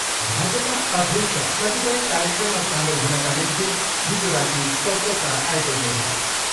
भाजपा अध्यक्ष कतिपय कार्यक्रममा सामेल हुनका निम्ति हिजो राति कलकत्ता आइपुग्नुभयो।